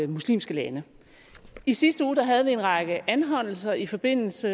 muslimske lande i sidste uge havde vi en række anholdelser i forbindelse